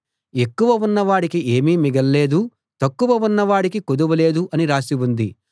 ఎక్కువ ఉన్న వాడికి ఏమీ మిగల్లేదు తక్కువ ఉన్న వాడికి కొదువ లేదు అని రాసి ఉంది